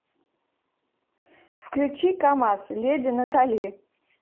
включи камаз леди натали